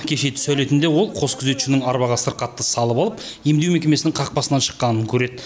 кеше түс әлетінде ол қос күзетшінің арбаға сырқатты салып алып емдеу мекемесінің қақпасынан шыққанын көреді